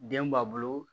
Den b'a bolo